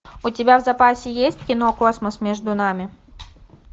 у тебя в запасе есть кино космос между нами